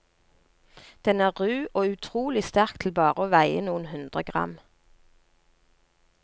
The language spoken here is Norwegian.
Den en ru og utrolig sterk til bare å veie noen hundre gram.